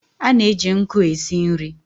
A na-eji nkụ e si nri.